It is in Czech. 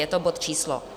Je to bod číslo